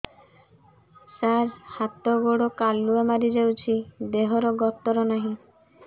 ସାର ହାତ ଗୋଡ଼ କାଲୁଆ ମାରି ଯାଉଛି ଦେହର ଗତର ନାହିଁ